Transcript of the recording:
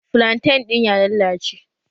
Flantan ɗin ya lallace